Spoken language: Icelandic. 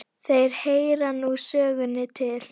Þeir heyra nú sögunni til.